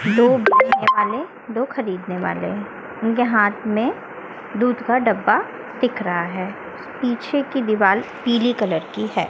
दो वाले दो खरीदने वाले हैं उनके हाथ में दूध का डब्बा दिख रहा हैं पीछे की दीवाल पीली कलर की हैं।